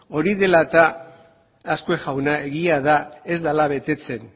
hori dela eta azkue jauna egia da ez dela betetzen